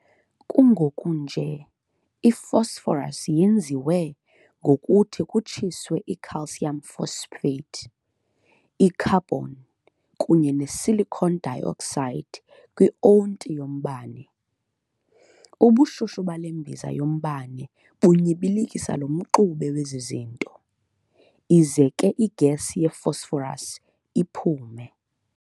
Kungoku nje i-Phosphorus yenziwa ngokuthi kutshiswe i-calcium phosphate, i-carbon, kunye ne-silicon dioxide kwi-onti -yombane. Ubushushu bale mbiza yombane bunyibilikisa lo mxube wezi zinto, ize ke i-gas ye-phosphorus iphume.